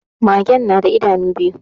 Magen na da idanu biyu